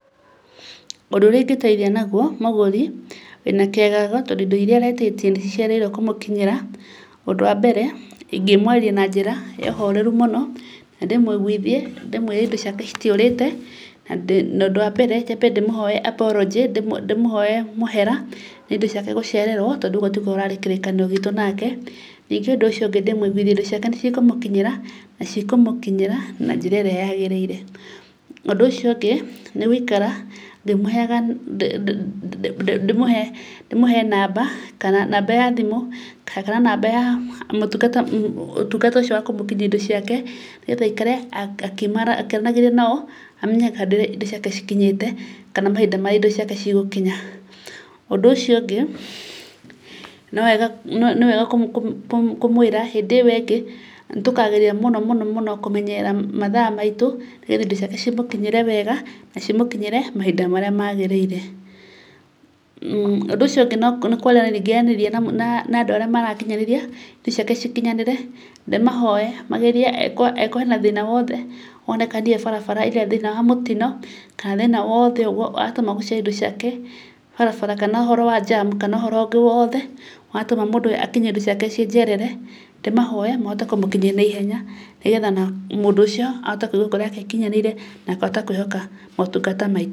Ũndũ ũrĩa ingĩteithi mũgũri wĩna kĩagago tondũ indo iria aretĩtie nĩ icereirwo kũmũkinyĩra, ũndũ wambere, ingĩmwarĩrĩa na njira ya ũhoreru mũno, na ndĩmũiguithie indo ciake citiũrĩte, na ũndũ wambere, nyambe ndĩmũhoye apology, ndĩmũhoye mũhera nĩ indo ciake gũcererwo, tondũ ũguo tiguo ũrarĩ kĩrĩkanĩro gĩtũ nake. Ningĩ ũndũ ũcio ũngĩ ndĩmũiguithie indo ciake nĩ cikũmũkinyĩra, na cikũmũkinyĩra na njĩra ĩrĩa yagĩrĩire. Ũndũ ũcio ũngĩ, nĩ gũikara ngĩmũheyaga, ndĩmũhe namba kana namba ya thimũ, kana namba ya ũtungata ũcio wakũmũkinyia indo ciake, aikare akĩaranagĩria nao, amenye harĩa indo ciake cikinyĩte, kana mahinda marĩa indo ciake cigũkinya. Ũndũ ũcio ũngĩ, nĩwega, nĩwega kũmwĩra hĩndĩ ĩyo ĩngĩ, nĩ tũkageria mũno mũno kũmenyerera mathaa maitũ, nĩgetha indo ciake cimũkinyĩre wega, na cimũkinyĩre mahinda marĩa magĩrĩire. Ũndũ ũcio ũngĩ nĩ kwaranĩria na andũ arĩa marakinyanĩria, indo ciake cikinyanĩre, ndĩmahoye magerie angĩkorwo hena thĩna woothe, wonekanire barabara, either thĩna wa mũtino, kana thĩna woothe watũma gũcererwo kwa indo ciake, barabara, kana ũhoro wa njamu, kana ũhoro ũngĩ woothe, watũma mũndũ akinyie indo ciake ciĩnjerere, ndimahoye mahote kũmũkinyĩria naihenya, nĩgetha mũndũ ũcio ahote kũigua ngoro yake ĩkinyanĩire, na akahota kwĩhoka motungata mai-